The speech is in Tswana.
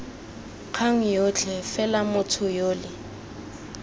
kgang yotlhe fela motho yole